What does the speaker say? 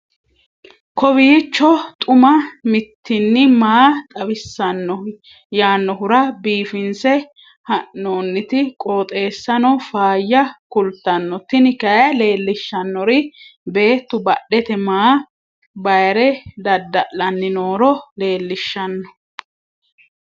kowiicho xuma mtini maa xawissanno yaannohura biifinse haa'noonniti qooxeessano faayya kultanno tini kayi leellishshannori beettu badhete maa bayre dada'lanni nooro leellishshanno